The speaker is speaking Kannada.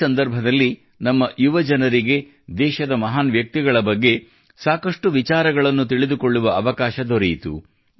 ಈ ಸಂದರ್ಭದಲ್ಲಿ ನಮ್ಮ ಯುವಜನರಿಗೆ ದೇಶದ ಮಹಾನ್ ವ್ಯಕ್ತಿಗಳ ಬಗ್ಗೆ ಸಾಕಷ್ಟು ವಿಚಾರಗಳನ್ನು ತಿಳಿದುಕೊಳ್ಳುವ ಅವಕಾಶ ದೊರೆಯಿತು